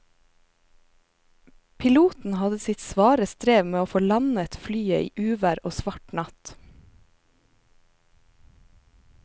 Piloten hadde sitt svare strev med å få landet flyet i uvær og svart natt.